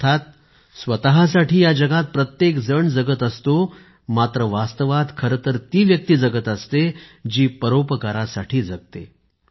अर्थात स्वतःसाठी या जगात प्रत्येक जण जगत असतो मात्र वास्तवात खरेतर ती व्यक्ती जगत असते जी परोपकारासाठी जगते